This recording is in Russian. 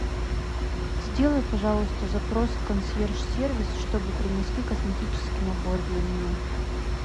сделай пожалуйста запрос в консьерж сервис чтобы принесли косметический набор для меня